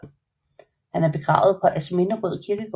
Han er begravet på Asminderød Kirkegård